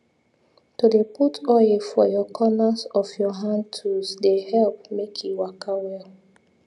to dey put oil for your corners of your hand tools dey help make e waka well